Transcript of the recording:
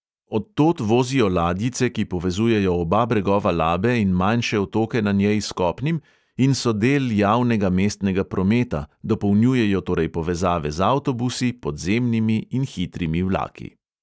Od tod vozijo ladjice, ki povezujejo oba bregova labe in manjše otoke na njej s kopnim in so del javnega mestnega prometa, dopolnjujejo torej povezave z avtobusi, podzemnimi in hitrimi vlaki.